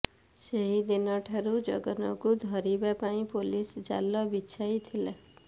ସେହିଦିନ ଠାରୁ ଜଗନକୁ ଧରିବା ପାଇଁ ପୁଲିସ୍ ଜାଲ ବିଛାଇଥିଲା